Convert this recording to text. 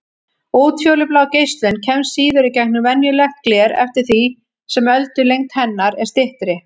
Útfjólublá geislun kemst síður í gegnum venjulegt gler eftir því sem öldulengd hennar er styttri.